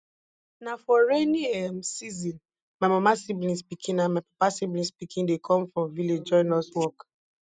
na for rainy um season my mama siblings pikin and my papa siblings pikin dey come from village join us work